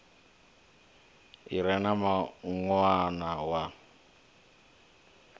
i re na mawanwa na